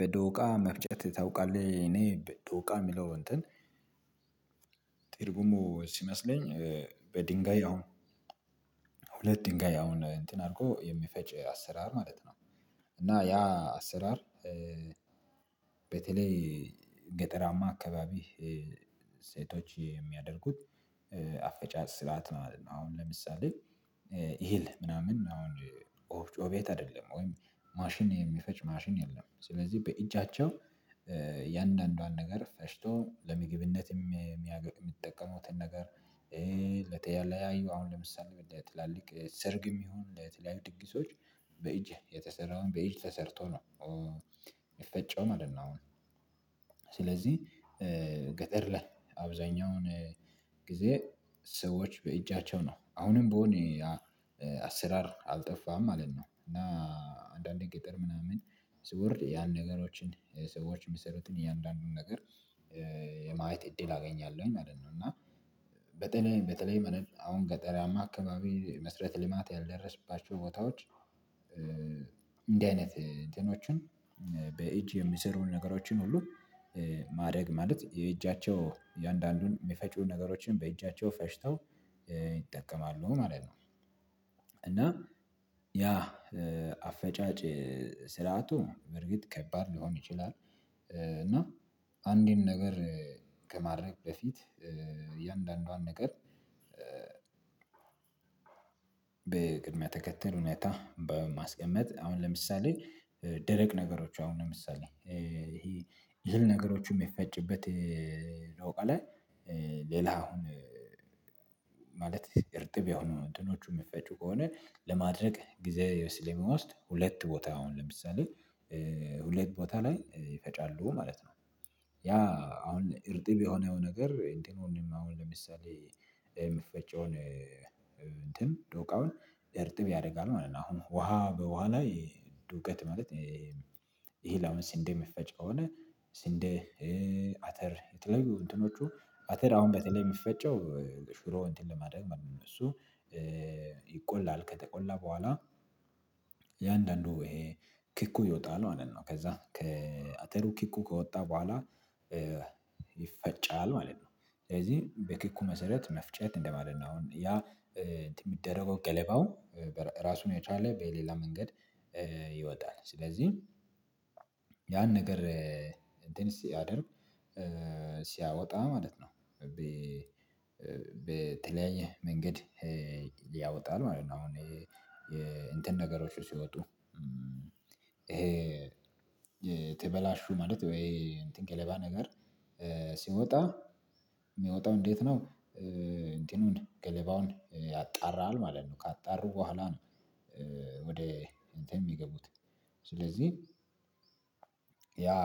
በዶቃ መፍጨት ታውቃለህ እኔ በዶቃ ሚለው እንትን ትርጉሙ ሲመስለኝ በድንጋይ አሁን ሁለት ድንጋይ አሁን እንትን አርጐ የሚፈጭ አሰራር ማለት ነው። እና ያ አሰራር በተለይ ገጠራማ አካባቢ ሴቶች የሚያደርጉት አፈጫጭ ስርዓት ማለት ነው። አሁን ለምሳሌ ይሄል ምናምን አሁን ኦፍጮ ቤት አደለም ወይም ማሽን የሚፈጭ ማሽን የለም። ስለዚ በእጃቸው እያንዳንዷን ነገር ፈጭቶ ለምግብነት ሚጠቀሙትን ነገር ለተለያዩ አሁን ለምሳሌ ወደ ትላልቅ ሰርግም ይሁን ለተለያዩ ድግሶች በእጅ የተሰራውን በእጅ ተሰርቶ ነው ሚፈጨው ማለት ነው። አሁን ስለዚ ገጠር ላይ አብዛኛውን ጊዜ ሰዎች በእጃቸው ነው አሁንም ቢዎን ያ አሰራር አልጠፋም ማለት ነው። እና አንዳንዴ ገጠር ምናምን ስውል ያን ነገሮችን ሰዎች ሚሰሩትን እያንዳንዱን ነገር የማየት እድል አገኛለውኝ ማለት ነው። እና በተለይ በተለይ አሁን ገጠራማ አካባቢ መስረት ልማት ያልደረስባቸው ቦታዎች እንዲ አይነት እንትኖችን በእጅ የሚሰሩ ነገሮችን ሁሉ ማረግ ማለት የእጃቸው እያንዳንዱን ሚፈጩ ነገሮችን በእጃቸው ፈጭተው ይጠቀማሉ ማለት ነው። እና ያ አፈጫጭ ስርዓቱ በርግጥ ከባድ ሊሆን ይችላል። እና አንድን ነገር ከማድረግ በፊት እያንዳንዷን ነገር በቅድሚያ ተከተል ሁኔታ በማስቀመጥ አሁን ለምሳሌ ደረቅ ነገሮች አሁን ለምሳሌ ይሄ እህል ነገሮቹን ሚፈጭበት ሎቃላይ ሌላ አሁን ማለት እርጥብ የሆኑ እንትኖቹ ሚፈጩ ከሆነ ለማድረቅ ጊዜ ስለሚወስድ ሁለት ቦታ አሁን ለምሳሌ ሁለት ቦታ ላይ ይፈጫሉ ማለት ነው። ያ አሁን እርጥብ የሆነው ነገር እንትኑንም አሁን ለምሳሌ ምፈጨውን እንትን ዶቃውን እርጥብ ያረጋል ማለት ነው። አሁን ውሃ በውሃ ላይ ዱቄት ማለት ይሄንለአመት ሲንዴ ሚፈጨ ከሆነ ሲንዴ አተር የተለያዩ እንትኖቹ አተር አሁን በተለይ ሚፈጨው ሽሮ እንትን ለማድረግ ማለት ነው። እሱ ይቆላል ከተቆላ በኋላ የአንዳንዱ ይሄ ክኩ ይወጣል ማለት ነው። ከዛ ከአተሩ ክኩ ከወጣ በኋላ ይፈጫል ማለት ነው። ስለዚ በክኩ መሰረት መፍጨት እንደማለት ነው። አሁን ያ ሚደረገው ገለባው ራሱን የቻለ በሌላ መንገድ ይወጣል ስለዚ ያን ነገር እንትን ሲያደርግ ሲያወጣ ማለት ነው። በተለያየ መንገድ ያወጣል ማለት ነው። አሁን እንትን ነገሮቹ ሲወጡ የተበላሹ ማለት ወይ እንትን ገለባ ነገር ሲወጣ ሚወጣው እንዴት ነው? እንቲኑን ገለባውን ያጣራል ማለት ነው። ካጣሩ በኋላ ነው። ወደ እንትን ሚገቡት ስለዚ ያ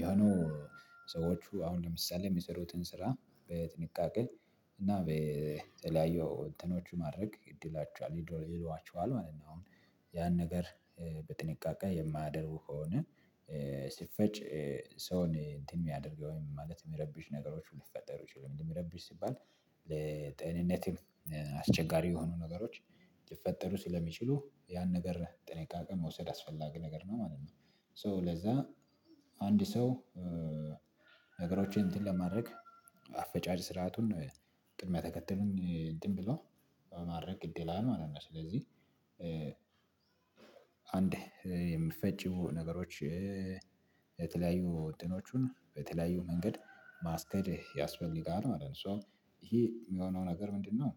የሆነው ሰዎቹ አሁን ለምሳሌ ሚሰሩትን ስራ በጥንቃቄ እና በተለያዩ እንትኖች ማድረግ ይሏችኋል ማለት ነው። አሁን ያን ነገር በጥንቃቄ የማያደርጉ ከሆነ ሲፈጭ ሰውን እንትን ሚያደርገው ወይም ማለት ሚረብሽ ነገሮቹ ሊፈጠሩ ይችላሉ። የሚረብሽ ሲባል ለጤንነትም አስቸጋሪ የሆኑ ነገሮች ሊፈጠሩ ስለሚችሉ ያን ነገር ጥንቃቄ መውሰድ አስፈላጊ ነገር ነው ማለት ነው። ሶ ለዛ አንድ ሰው ነገሮችን እንትን ለማድረግ አፈጫጭ ስርዓቱን ቅድመ ተከተሉን እንትን ብሎ በማድረግ ግድ ይላይ ማለት ነው። ስለዚ አንድ የምፈጭው ነገሮች የተለያዩ ወጥኖቹን በተለያዩ መንገድ ማስኬድ ያስፈልጋል ማለት ነው። ሶ ይሄ ሚሆነው ነገር ምንድነው?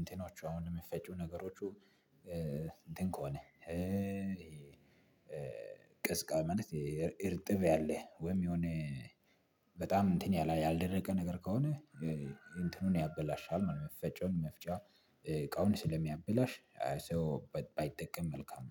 እንትኖቹ አሁን ምፈጪው ነገሮቹ እንትን ከሆነ ቀዝቃ ማለት እርጥብ ያለ ወይም የሆነ በጣም እንትን ያልደረቀ ነገር ከሆነ እንትኑን ያበላሻል ማለት ነው። ሚፈጨውን መፍጫ እቃውን ስለሚያበላሽ ሰው ባይጠቀም መልካም